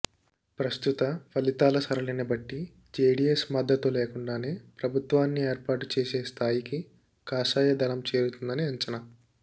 ప్రస్తుత ఫలితాల సరళిని బట్టి జేడీఎస్ మద్దతు లేకుండానే ప్రభుత్వాన్ని ఏర్పాటు చేసే స్థాయికి కాషాయదళం చేరుతుందని అంచనా